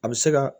A bɛ se ka